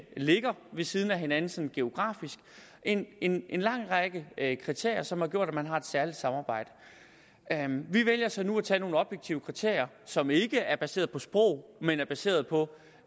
ligger ved siden af hinanden sådan geografisk en en lang række kriterier som har gjort at man har et særligt samarbejde vi vælger så nu at tage nogle objektive kriterier som ikke er baseret på sprog men er baseret på